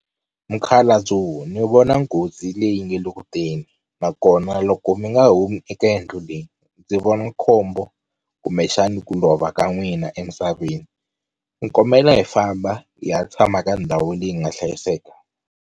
Mukhalabyo ni vona nghozi leyi nga le kuteni nakona loko mi nga humi eka yindlu leyi ndzi vona khombo kumbexani ku lova ka n'wina emisaveni. Ni kombela hi famba hi ya tshama ka ndhawu leyi nga hlayiseka.